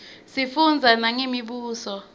sifundza nangemibuso